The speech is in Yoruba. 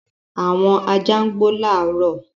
Àwọn ajá gbò laro.